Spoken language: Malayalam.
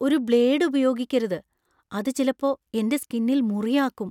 ഒരു ബ്ലേഡ് ഉപയോഗിക്കരുത്. അത് ചിലപ്പോ എന്‍റെ സ്കിന്നിൽ മുറി ആക്കും .